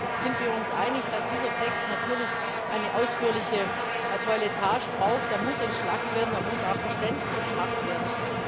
Deswegen sind wir uns einig, dass dieser Text natürlich eine ausführliche Toiletage braucht. Er muss entschlackt werden, er muss auch verständlicher gemacht werden.